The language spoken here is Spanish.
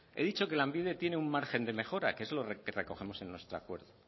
he dicho que lanbide tiene un margen de mejora que eso es lo que recogemos en nuestro acuerdo